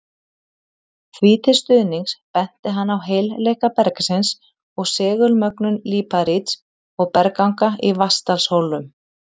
Því til stuðnings benti hann á heilleika bergsins og segulmögnun líparíts og bergganga í Vatnsdalshólum.